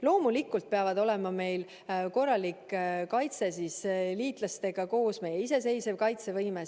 Loomulikult peab meil olema korralik kaitse liitlastega koos ja ka meie iseseisev kaitsevõime.